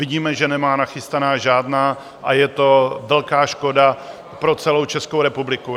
Vidíme, že nemá nachystaná žádná, a je to velká škoda pro celou Českou republiku.